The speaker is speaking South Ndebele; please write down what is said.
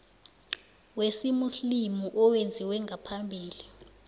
wesimuslimu owenziwe ngaphambi